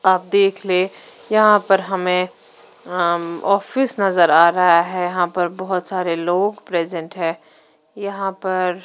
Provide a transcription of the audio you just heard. आप देख ले यहां पर हमें अम ऑफिस नजर आ रहा है यहां पर बहुत सारे लोग प्रेसेंट है यहां पर--